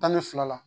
Tan ni fila la